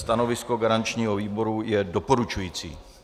Stanovisko garančního výboru je doporučující.